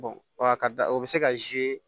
wa a ka da o be se ka